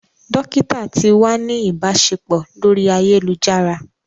Dokita ti wa ni ibaṣepọ lori ayelujara.